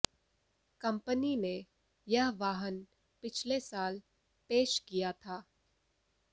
company ने यह वाहन पिछले साल पेश किया था